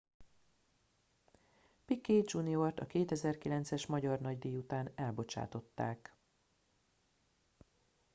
piquet jr.-t a 2009-es magyar nagydíj után elbocsátották